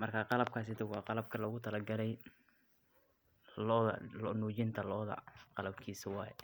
marka qalabkas waa qalabka logu tala gale lo nujista qalabkiis waye